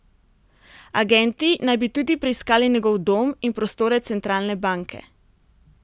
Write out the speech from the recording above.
Agenti naj bi tudi preiskali njegov dom in prostore centralne banke.